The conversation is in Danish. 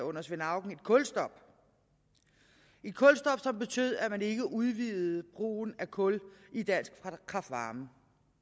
under svend auken et kulstop et kulstop som betød at man ikke udvidede brugen af kul i dansk kraft varme